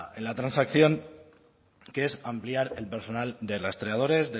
en la transacción que es ampliar el personal de rastreadores